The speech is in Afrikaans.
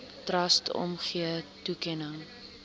trust omgee toekenning